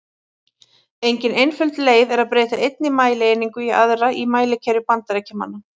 Engin einföld leið er að breyta einni mælieiningu í aðra í mælikerfi Bandaríkjamanna.